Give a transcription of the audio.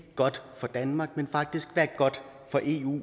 godt for danmark men faktisk der er godt for eu